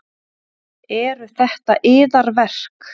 Eru þetta yðar verk?